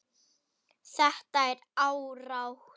Þetta er árátta.